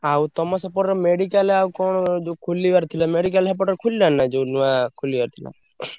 ଆଉ ତମ ସେପଟର medical ଆଉ କଣ ଯୋଉ ଖୋଲିବାର ଥିଲା medical ସେପଟରେ ଖୋଲିଲାଣି ନା ଯୋଉ ନୂଆ ଖୋଲିବାର ଥିଲା?